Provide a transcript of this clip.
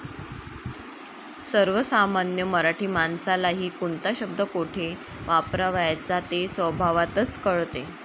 सर्वसामान्य मराठी माणसालाही कोणता शब्द कोठे वापरावयाचा ते स्वभावतःच कळते.